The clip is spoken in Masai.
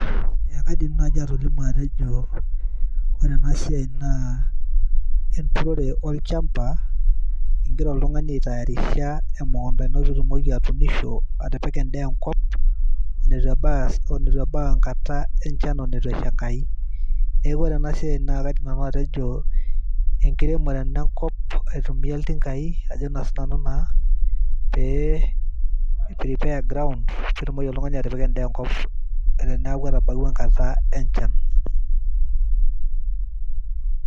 eekadim naaji atolimu ajo ore ena siaai naa ekiremore olchamba nagira oltung'ani aitaarisha pee eremisho etu ebau enkata enchan etu esha enkai, neeku ore ena siaai naa enkiremore enkop aitumiya ilchumai pee iprepare groound pee etumoki oltung'ani atipika edaa enkop teneeku etabawua enkata enchan.